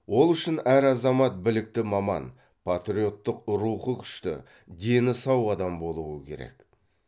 ол үшін әр азамат білікті маман патриоттық рухы күшті дені сау адам болуы керек